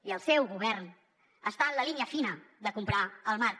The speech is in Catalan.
i el seu govern està en la línia fina de comprar el marc